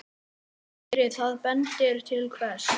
Andri: Það bendir til hvers?